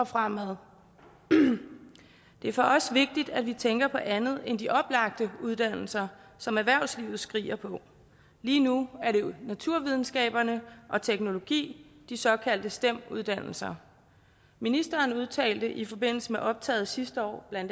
fremad det er for os vigtigt at vi tænker på andet end de oplagte uddannelser som erhvervslivet skriger på lige nu er det naturvidenskaberne og teknologi de såkaldte stem uddannelser ministeren udtalte i forbindelse med optaget sidste år bla